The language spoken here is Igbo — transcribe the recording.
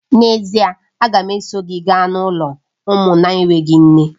N'ezie!, a ga m eso gị gaa n'ụlọ ụmụ na-enweghị nne